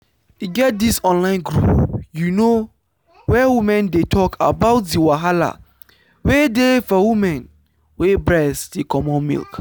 e get this online group you know where women dey talk about the wahala wey dey for women wey breast dey comot milk.